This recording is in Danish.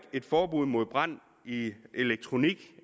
et forbud mod brand i elektronik